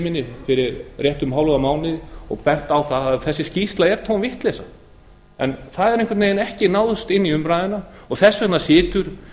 minni fyrir rétt um hálfum mánuði og benti á að þessi skýrsla er tóm vitleysa það hefur einhvern veginn ekki náðst inn í umræðuna og þess vegna situr